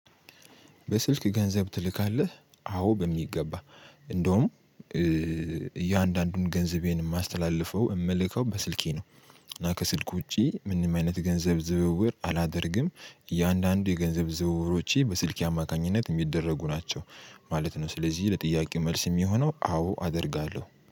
በስልክ ገንዘብ ትልካለህ? አዎ በሚገባ እንደውም እያንዳንዱን ገንዘቤን የማስተላልፈው የምልከው በስልኬ ነው። እና ከስልክ ውጪ ምንም አይነት ገንዘብ ዝውውር አላደርግም። እያንዳንዱ የገንዘብ ዝውውሮቼ በስልኬ አማካኝነት የሚደረጉ ናቸው ማለት ነው። ስለዚህ ለጥያቄው መልስ የሚሆነው አዎ አደርጋለሁ።